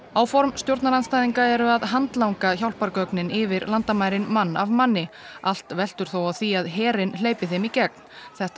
áform stjórnarandstæðinga eru að handlanga hjálpargögnin yfir landamærin mann af manni allt veltur þó á því að herinn hleypi þeim í gegn þetta